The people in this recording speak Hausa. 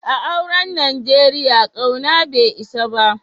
A'auren Nijeriya, kauna bai isa ba.